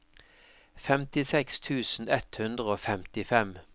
femtiseks tusen ett hundre og femtifem